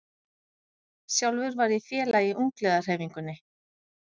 Sjálfur var ég félagi í ungliðahreyfingunni.